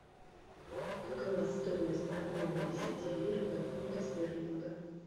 какова стоимость обмена десяти лир на фунты стерлинга